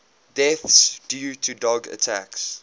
deaths due to dog attacks